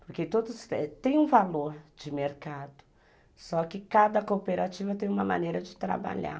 Porque todos têm um valor de mercado, só que cada cooperativa tem uma maneira de trabalhar.